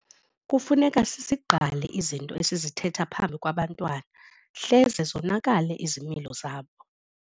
Kufuneka sizigqale izinto esizithetha phambi kwabantwana hleze zonakale izimilo zabo.